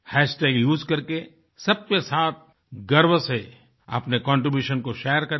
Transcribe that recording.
hashtag उसे करके सबके साथ गर्व से अपने कंट्रीब्यूशन को शेयर करें